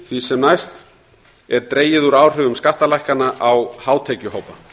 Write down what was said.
því sem næst óbreyttu er dregið úr áhrifum skattalækkana á hátekjuhópa